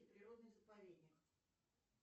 природный заповедник